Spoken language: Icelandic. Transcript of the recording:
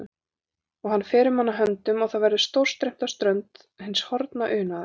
Og hann fer um hana höndum og það verður stórstreymt á strönd hins horfna unaðar.